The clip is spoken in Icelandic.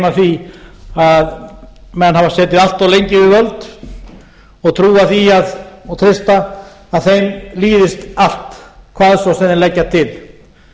af því að menn hafa setið allt of lengi við völd og trúa því og treysta að þeim líðist allt hvað svo sem þeir leggja til